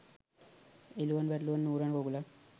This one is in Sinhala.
එළුවන් බැටළුවන් ඌරන් කුකුලන්